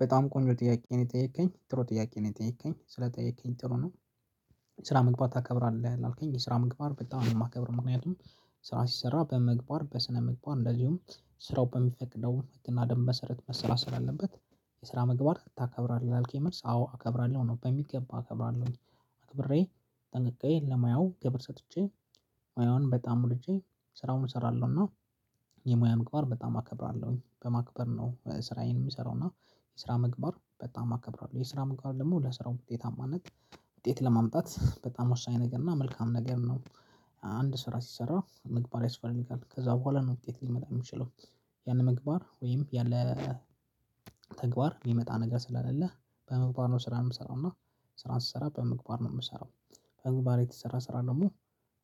በጣም ቆንጆ ጥያቄ ነው የጠየከኝ ጥሩ ጥያቄ ነው የጠየከኝ ስለጠየከኝ ጥሩ ነው። ስራ መግባት ታከብራለህ ላልከኝ የስራ ምግባር በጣም የማከብር ምክንያቱም ስራ ሲሰራ በምግባር በስነ ምግባር እንደዚሁም ስራው በሚፈቅደው ህግ እና ደንብ መሰረት መሰራት ስላአለበት። የስራ ምግባር ታከብራለህ ላልከኝ መልስ አዎ አከብራለሁ ነው በሚገባ አከብራለሁኝ። አክብሬ ጠንቅቄ ለሙያው ክብር ሰጥቼ ሙያውን በጣም ወድጄ ስራውን እሰራለሁና። የሙያ ምግባር በጣም አከብራለሁኝ በማክበር ነው ስራዬን የሚሰራውና። የስራ መግባት በጣም አከብሯል የስራ ምግባር ደግሞ ለስራው ውጤታማነት ውጤት ለማምጣት በጣም ወሳኝ ነገር እና መልካም ነገር ነው። አንድ ስራ ስሰራ መግባር ያስፈልጋል ከዛ በኋላ ነው ውጤት ሊመጣ የሚችለው። ያለ ምግባር ወይም ያለ ተግባር የሚመጣ ነገር ስለሌ በመግባር ነው ስራ የምሰራው እና ስራን ስሰራ በምግባር ነው የምሰራው። በምግባር የተሰራ ስራ ደግሞ